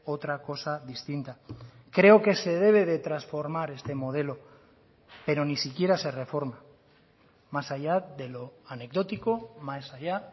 otra cosa distinta creo que se debe de transformar este modelo pero ni siquiera se reforma más allá de lo anecdótico más allá